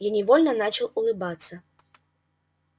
я невольно начал улыбаться